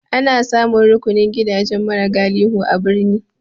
Ana samun rukunin gidajen mara sa galihu a birni.